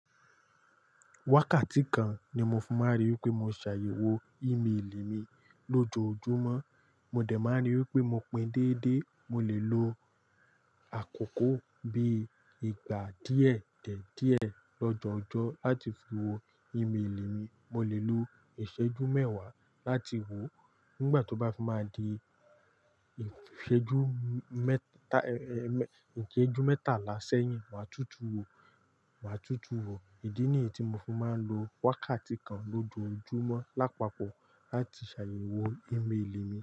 Wákàtí kan ni mo fi máa ń rí wípé mo ṣààyẹ̀ wo e-mail mi lójoojúmọ́. Mo dà máa ń rí wípé mo pín déédé. Mo lè lo àkókò bí ìgbà díẹ̀ tẹ̀ díẹ̀ lọ́jọ́ọjọ́ láti fi wo e-mail mi. Mo lè lo ìṣẹ́jú mẹ́wàá láti wò ó. Nígbà tó bá fi máa di ìṣẹ́jú mẹ́ta, ẹ́, ẹ, ẹ, ìṣẹ́jú mẹ́tàlá sẹ́yìn, màá tutù wò ó, màá tutù wò ó. Ìdí nìyí tí mo fi máa ń lo wákàtí kan lójoojúmọ́ lápapọ̀ láti ṣààyẹ̀ wo e-mail mi.